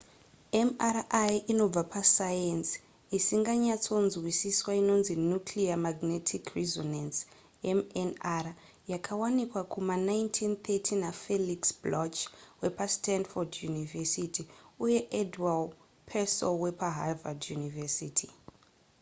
mri inobva pasayenzi isinganyatsonzwisiswa inonzi nuclear magnetic resonance mnr yakawanika kuma 1930 nafelix bloch wepastanford university uye edward purcell wepaharvard university